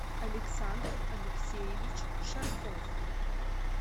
александр алексеевич шарков